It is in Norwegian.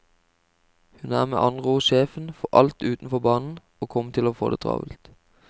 Hun er med andre ord sjefen for alt utenfor banen og kommer til å få det travelt.